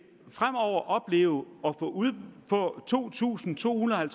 opleve at få to tusind to hundrede og